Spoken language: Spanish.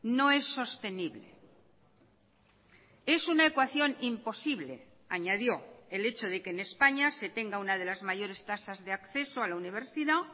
no es sostenible es una ecuación imposible añadió el hecho de que en españa se tenga una de las mayores tasas de acceso a la universidad